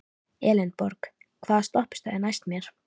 Elenborg, hvaða stoppistöð er næst mér?